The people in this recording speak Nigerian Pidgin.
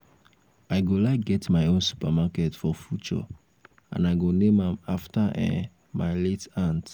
i go like get my own supermarket for future and i go name am after um my late aunt